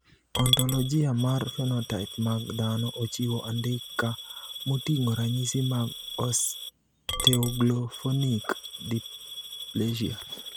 Ontologia mar phenotype mag dhano ochiwo andika moting`o ranyisi mag Osteoglophonic dysplasia.